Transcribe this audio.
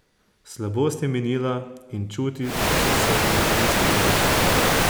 Slabost je minila in čuti so se mu izostrili.